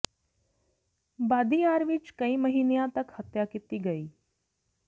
ਬਾਦੀ ਯਾਰ ਵਿਚ ਕਈ ਮਹੀਨਿਆਂ ਤਕ ਹੱਤਿਆ ਕੀਤੀ ਗਈ